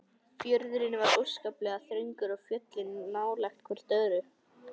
Fjörðurinn var óskaplega þröngur og fjöllin nálægt hvert öðru.